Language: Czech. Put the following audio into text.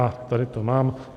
A tady to mám.